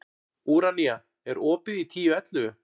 Úranía, er opið í Tíu ellefu?